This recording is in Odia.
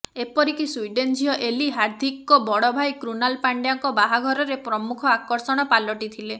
ଏପରିକି ସ୍ୱିଡେନ୍ ଝିଅ ଏଲି ହାର୍ଦିକଙ୍କ ବଡ଼ ଭାଇ କ୍ରୁନାଲ ପାଣ୍ଡ୍ୟାଙ୍କ ବାହାଘରରେ ପ୍ରମୁଖ ଆକର୍ଷଣ ପାଲଟି ଥିଲେ